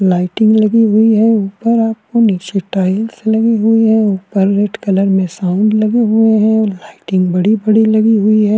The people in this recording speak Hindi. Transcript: लायटिंग लगी हुई है ऊपर आपको नीचे टाईलस लगी हुई है ऊपर रेड कलर में साउंड लगे हुए हैं लायटिंग बड़ी-बड़ी लगी हुई हैं।